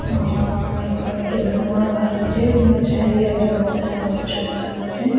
ଆଂ ଏପଟେ ଗୋଟେ ଧୂଆଁ ବାହାରୁଛି ଚାରିଆଡେ ବହୁତ ସାରା ଗଛପତ୍ର ଅଛି ।